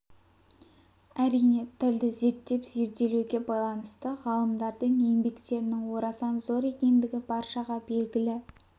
әрине тілді зерттеп зерделеуге байланысты ғалымдардың еңбектерінің орасан зор екендігі баршаға белгілі